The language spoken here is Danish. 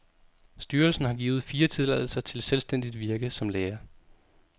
Styrelsen har givet fire tilladelser til selvstændigt virke som læger.